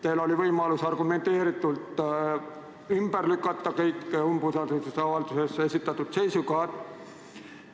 Teil oli võimalus argumenteeritult ümber lükata kõik umbusaldusavalduses esitatud seisukohad.